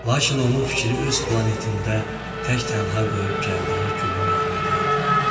Lakin onun fikri öz planetində tək-tənha qoyub gəldiyi gülün yanında idi.